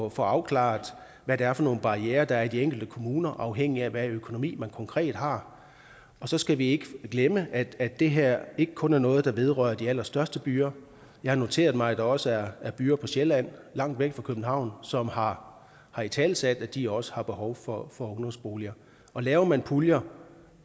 at få afklaret hvad det er for nogle barrierer der er i de enkelte kommuner afhængigt af hvilken økonomi man konkret har og så skal vi ikke glemme at at det her ikke kun er noget der vedrører de allerstørste byer jeg har noteret mig at der også er er byer på sjælland der langt væk fra københavn som har har italesat at de også har behov for ungdomsboliger laver man så puljer